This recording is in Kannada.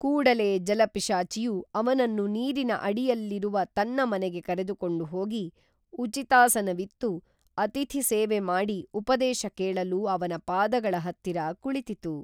ಕೂಡಲೇ ಜಲಪಿಶಾಚಿಯು ಅವನನ್ನು ನೀರಿನ ಅಡಿಯಲ್ಲಿರುವ ತನ್ನ ಮನೆಗೆ ಕರೆದುಕೊಂಡು ಹೋಗಿ ಉಚಿತಾಸನವಿತ್ತು ಅತಿಥಿ ಸೇವೆ ಮಾಡಿ ಉಪದೇಶ ಕೇಳಲು ಅವನ ಪಾದಗಳ ಹತ್ತಿರ ಕುಳಿತಿತು